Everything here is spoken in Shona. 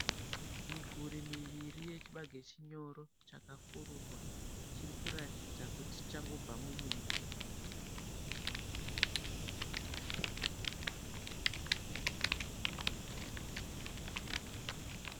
Miguri miviri yechibage chinyoro chakafururwa chiri kuratidza kuti chichangobva mumunda.